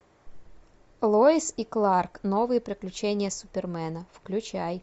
лоис и кларк новые приключения супермена включай